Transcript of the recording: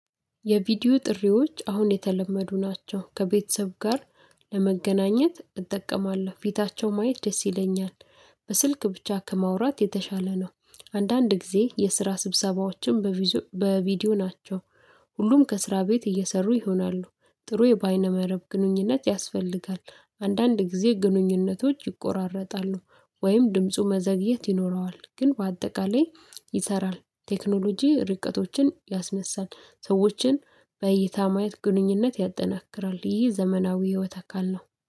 የቪዲዮ ጥሪዎች አሁን የተለመዱ ናቸው ከቤተሰብ ጋር ለመገናኘት እጠቀማለሁ ፊታቸው ማየት ደስ ይለኛል። በስልክ ብቻ ከማውራት የተሻለ ነው አንዳንድ ጊዜ የስራ ስብሰባዎችን በቪዲዮ ናቸው። ሁሉም ከስራ ቤት እየሰሩ ይሆናሉ ጥሩ የባይነ መረብ ግንኙነት ያስፈልጋል አንዳንድ ጊዜ ግንኙነቶች ይቆራረጣሉ ወይም ድምፁ መዘግየት ይኖረዋል ግን በአጠቃላይ ይሰራል ቴክኖሎጂ ርቀቶችን ያስነሳል ሰዎችን በይታ ማየት ግንኙነት ያጠናክራል ይህ ዘመናዊ ህይወት አካል ነው።